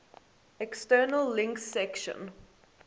external links section